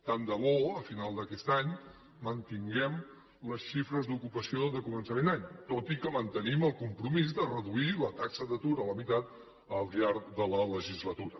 tant de bo a final d’aquest any mantinguem les xifres d’ocupació de començament d’any tot i que mantenim el compromís de reduir la taxa d’atur a la meitat al llarg de la legislatura